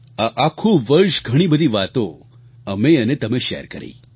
આ આખું વર્ષ ઘણી બધી વાતો અમે અને તમે શૅર કરી